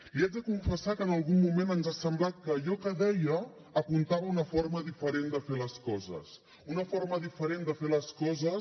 li haig de confessar que en algun moment ens ha semblat que allò que deia apuntava a una forma diferent de fer les coses una forma diferent de fer les coses